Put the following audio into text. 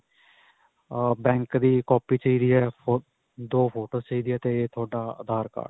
ਅਅ bank ਦੀ copy ਚਾਹੀਦੀ ਹੈ, ਦੋ photos ਚਾਹੀਦੀਆਂ ਹੈ 'ਤੇ ਤੁਹਾਡਾ ਆਧਾਰ ਕਾਰਡ.